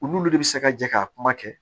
U n'olu de bɛ se ka jɛ ka kuma kɛ